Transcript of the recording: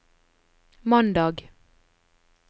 mandag